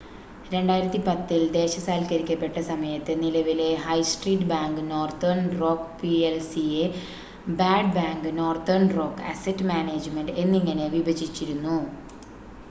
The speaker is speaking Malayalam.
2010-ൽ ദേശസാൽക്കരിക്കപ്പെട്ട സമയത്ത് നിലവിലെ high street bank Northern Rock പി‌എൽ‌സിയെ ‘bad bank’ Northern Rock asset management എന്നിങ്ങനെ വിഭജിച്ചിരുന്നു